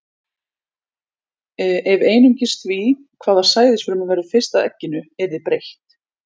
Ef einungis því, hvaða sæðisfruma verður fyrst að egginu, yrði breytt.